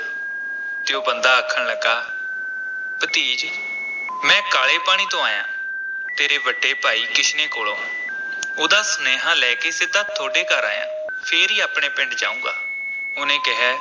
ਤੇ ਉਹ ਬੰਦਾ ਆਖਣ ਲੱਗਾ, ਭਤੀਜ ਮੈਂ ਕਾਲੇ ਪਾਣੀ ਤੋਂ ਆਇਆਂ, ਤੇਰੇ ਵੱਡੇ ਭਾਈ ਕਿਸ਼ਨੇ ਕੋਲੋਂ ਉਹਦਾ ਸੁਨੇਹਾ ਲੈ ਕੇ ਸਿੱਧਾ ਥੋਡੇ ਘਰ ਆਇਆਂ, ਫੇਰ ਹੀ ਆਪਣੇ ਪਿੰਡ ਜਾਊਂਗਾ, ਉਹਨੇ ਕਿਹੈ